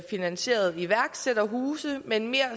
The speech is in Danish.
finansierede iværksætterhuse men mere